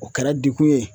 O kɛra degun ye